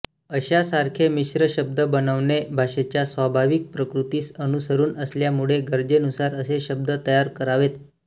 अशासारखे मिश्र शब्द बनवणे भाषेच्या स्वाभाविक प्रकृतीस अनुसरून असल्यामुळे गरजेनुसार असे शब्द तयार करावेत